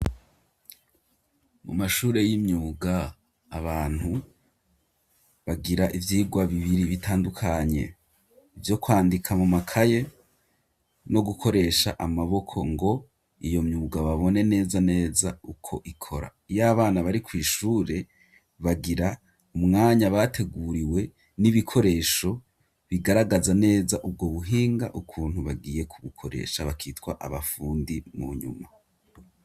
Mu mashure y'imyuga abantu bagira ivyirwa bibiri bitandukanye ivyo kwandika mu makaye no gukoresha amaboko ngo iyo myuga babone neza neza uko ikora iyabana bari kw'ishure bagira umwanya bateguriwe n'ibikoresho bigaragaza neza ubwo buhinga ukuntu bagiye ku bukoresha bakitwa abafundi mu nyuma